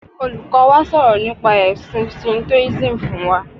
Olùkọ́ wa sọ̀rọ̀ nípa ẹ̀sin Shintoism fún wa.